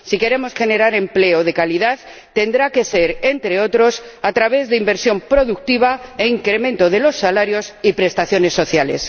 Si queremos generar empleo de calidad, tendrá que ser, entre otros, a través de inversión productiva e incremento de los salarios y prestaciones sociales.